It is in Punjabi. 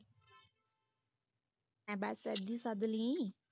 ਬਸ ਏਦਾਂ ਹੀ ਸੱਦ ਲਵੀਂ